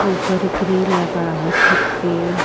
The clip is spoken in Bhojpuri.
ऊपर ग्रिल लगा हो छत पे --